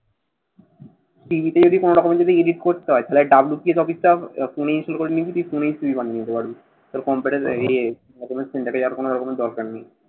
CV টিভি যদি কোনোটা কোনো যদি edit করতে হয় তাহলে WPS office টা ফোনে install করে নিবি। তুই ফোনেই CV বানিয়ে নিতে পারবি। তোর ইয়ে document center এ যাওয়ার কোনো রকমের দরকার নেই।